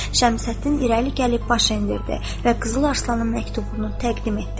Şəmsəddin irəli gəlib baş endirdi və Qızıl Arslanın məktubunu təqdim etdi.